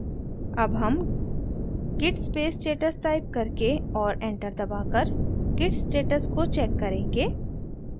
अब हम git space status type करके और enter दबाकर git status को check करेंगे